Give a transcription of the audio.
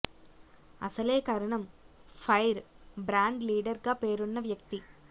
అసలే Karanam fire brand leader గా పేరున్న వ్యక్తి